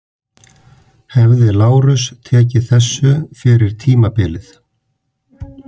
Hefði Lárus tekið þessu fyrir tímabilið?